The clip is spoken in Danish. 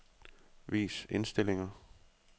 Vis indstillinger.